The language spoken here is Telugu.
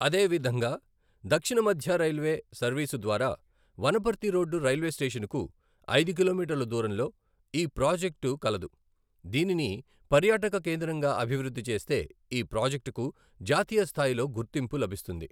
అదేేవిధంగా దక్షిణ మధ్య రైల్వే సర్వీసు ద్వారా వనపర్తి రోడ్ రైల్వే స్టేషన్ కు ఐదు కిలోమీటర్ల దూరంలో ఈ ప్రాజెక్టు కలదు దీనిని పర్యాటక కేంద్రంగా అభివృద్ధి చేస్తే ఈ ప్రాజెక్టుకు కు జాతీయ స్థాయిలో గుర్తింపు లభిస్తుంది.